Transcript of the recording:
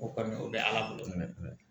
O kɔni o bɛ ala bolo mɛn